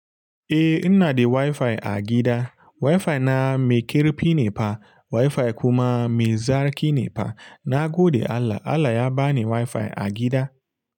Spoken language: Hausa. Eh, ina da waifai a gida. Waifa na mai ƙarfi ne fa. Waifai kuma mai zaƙi ne fa. Na gode Allah. Allah ya ba ni wuaifa a gida.